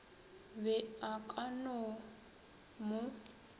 be a ka no mo